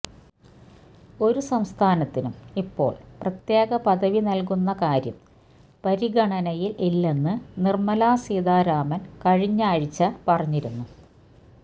ഒരു സംസ്ഥാനത്തിനും ഇപ്പോള് പ്രത്യേക പദവി നല്കുന്ന കാര്യം പരിഗണനയില് ഇല്ലെന്ന് നിര്മല സീതാരാമന് കഴിഞ്ഞാഴ്ച പറഞ്ഞിരുന്നു